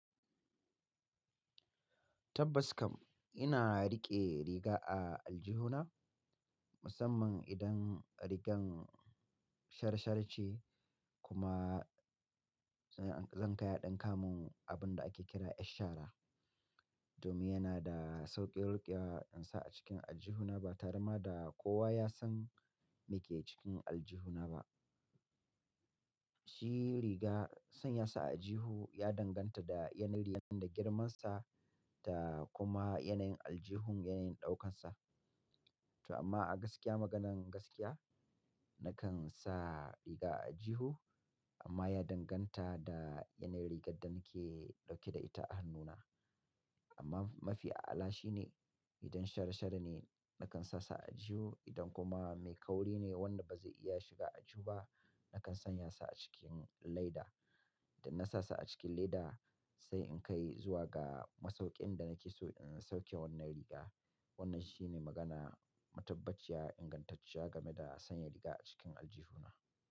Tabbas kam ina riƙe riga a aljihuna musamman idan rigar sharshar ce kuma zan kai a ɗinka mun abun da ake kira 'yar shara. Domin yana da sauƙin riƙewa ɗinsa a cikin aljihuna ba tarema da kowa ya san me ke cikin aljihuna ba. Shi riga sanya sa a aljihu ya danganta da yanayin rigar da girmansa da kuma yanayin aljihun, yanayin ɗaukansa. To amma a gaskiya maganan gaskiya nakan sa riga a aljihu amma ya danganta da yanayin rigar da nake dauke da ita a hannuna. Amma mafi a, ala shine idan sharshar ne nakan sa sa a aljihu idan kuma mai kauri ne wanda ba zai iya shiga aljihu ba nakan sanya sa a cikin leda. Da na sa a cikin leda sai in kai zuwa ga masauƙin da nake so in sauke wannan riga. Wannan shine magana, matabbaciya, ingantacciya game da sanya riga a cikin aljihuna.